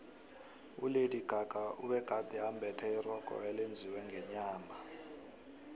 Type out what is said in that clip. ulady gaga ubegade embethe irogo elenziwe ngenyama